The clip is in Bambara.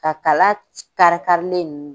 Ka kala kari kari len